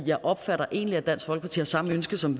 jeg opfatter egentlig at dansk folkeparti har samme ønske som